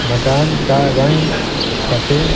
मकान का रंग सफेद--